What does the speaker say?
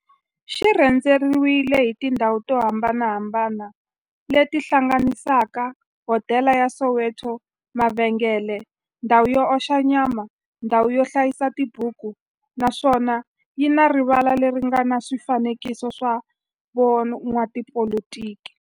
xi rhendzeriwile hi tindhawu to hambanahambana le ti hlanganisaka, hodela ya Soweto-mavhengele-ndhawu yo oxa nyama-ndhawu yo hlayisa tibuku, naswona yi na rivala le ri nga na swifanekiso swa vo n'watipolitiki.